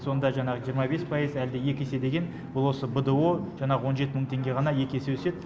сонда жаңағы жиырма бес пайыз әлде екі есе деген бұл осы бдо жаңағы он жеті мың теңге ғана екі есе өседі